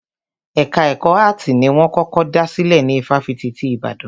Ẹka ẹ̀kọ́ áàtì ni wọ́n kọ́kọ́ dá sílè ní ifáfitì ti Ìbàdàn.